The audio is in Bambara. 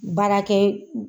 Baarakɛ